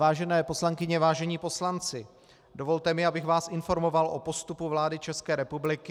Vážené poslankyně, vážení poslanci, dovolte mi, abych vás informoval o postupu vlády České republiky.